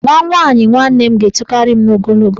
Nwa nwaanyị nwanne m ga-etokarị m n'ogologo.